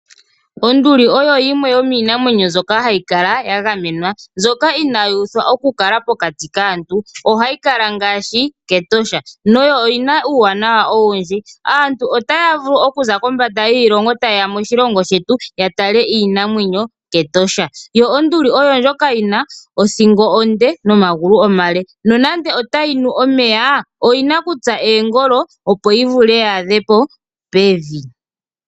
Onduli oyo yimwe yomiinamwenyo mbyoka hayi kala ya gamenwa, mbyoka inaayi uthwa oku kala pokati kaantu. Ohayi kala ngaashi kEtosha, yo oyina uuwanawa owundji. Aantu otaya vulu okuza kombada yiilongo ta ye ya moshilongo shetu ya tale iinamwenyo kEtosha. Onduli oyina othingo onde nomagulu omale nuuna tayi nu omeya oyina okutsa oongolo opo yi vule oku adha pevi.